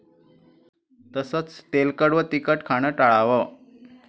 तसंच तेलकट व तिखट खाणं टाळावं.